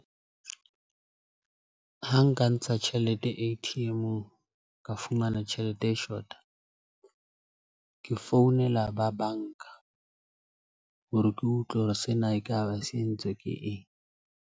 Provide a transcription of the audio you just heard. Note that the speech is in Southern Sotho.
Ha nka ntsha tjhelete A_T _M-ong, ka fumana tjhelete e shota. Ke founela ba banka hore ke utlwe hore sena ekaba se entswe ke eng.